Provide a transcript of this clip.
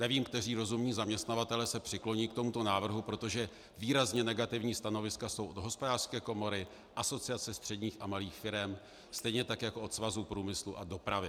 Nevím, kteří rozumní zaměstnavatelé se přikloní k tomuto návrhu, protože výrazně negativní stanoviska jsou od Hospodářské komory, Asociace středních a malých firem, stejně tak jako od Svazu průmyslu a dopravy.